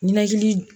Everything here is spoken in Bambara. Ninakili